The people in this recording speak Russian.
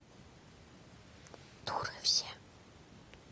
дуры все